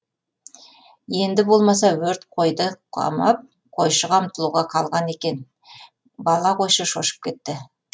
енді болмаса өрт қойды қамап қойшыға ұмтылуға қалған екен бала қойшы шошып кетті